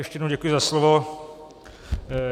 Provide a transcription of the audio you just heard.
Ještě jednou děkuji za slovo.